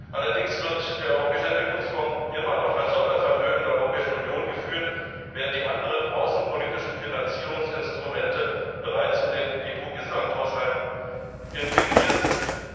Allerdings wird der Europäische Entwicklungsfonds immer noch als Sondervermögen der Europäischen Union geführt, während die anderen außenpolitischen Finanzierungsinstrumente bereits in den EU Gesamthaushalt integriert sind.